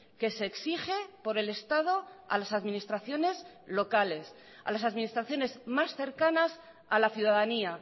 que se exige por el estado a las administraciones locales a las administraciones más cercanas a la ciudadanía